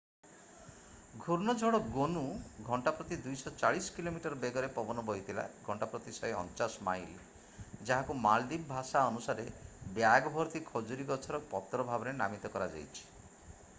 ଘୂର୍ଣ୍ଣଝଡ଼ ଗୋନୁ ଘଣ୍ଟା ପ୍ରତି 240 କିଲୋମିଟର ବେଗରେ ପବନ ବୋହିଥିଲା ଘଣ୍ଟା ପ୍ରତି 149 ମାଇଲ୍. ଯାହାକୁ ମାଳଦ୍ୱୀପ ଭାଷା ଅନୁସାରେ ବ୍ୟାଗ ଭର୍ତ୍ତି ଖଜୁରୀ ଗଛର ପତ୍ର ଭାବେ ନାମିତ କରାଯାଇଛି।